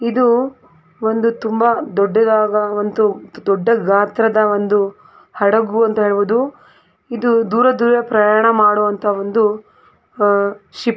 ಇದು ಒಂದು ತುಂಬಾ ದೊಡ್ಡದಾದ ದೊಡ್ಡ ಗಾತ್ರದ ಹಡಗು ಅಂತ ನಾವು ಹೇಳಬಹುದು. ಇದು ಆ ದೂರದೂರ ಪ್ರಯಾಣ ಮಾಡುವಂತ ಒಂದು ಶಿಫ್ .